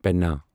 پینا